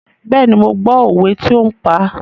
Bẹ́ẹ̀ni, mo gbọ́ òwe tí ó ń pa.